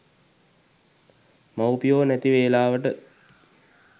මව්පියො නැති වේලාවට